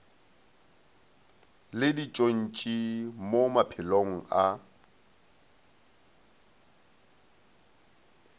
le ditšontši mo maphelong a